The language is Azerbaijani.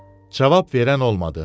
Cavab verən olmadı.